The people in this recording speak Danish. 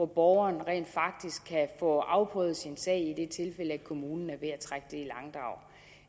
borgeren rent faktisk kan få afprøvet sin sag i det tilfælde at kommunen er ved